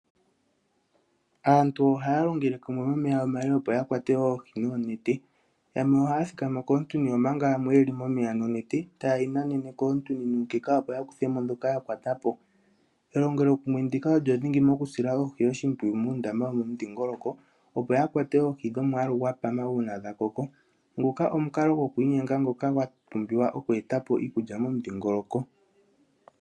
Aantu ohaya longele kumwe momeya omale opo ya kwate Oohi noonete. Yamwe ohaya thikama koontuni omanga yamwe yeli momeya nonete ta yeyi nanene koontuni opo ya kuthe mo dhoka ya kwata po. Elongelokumwe ndika olyo dhingi moku sila Oohi oshimpwiyu muundama wo momudhingoloko opo ya kwate oohi dhomwaalu gwa pama uuna dha koko. Nguka omukalo go kwiinyenga ngoka gwa pumbiwa oku eta po iikulya mo mudhingoloko